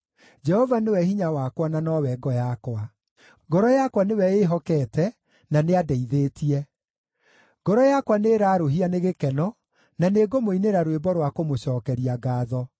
Jehova nĩwe hinya wakwa na nowe ngo yakwa; ngoro yakwa nĩwe ĩĩhokete, na nĩandeithĩtie. Ngoro yakwa nĩĩrarũũhia nĩ gĩkeno, na nĩngũmũinĩra rwĩmbo rwa kũmũcookeria ngaatho.